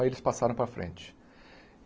Aí eles passaram para frente.